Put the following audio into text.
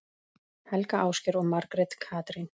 Helga, Ásgeir og Margrét Katrín.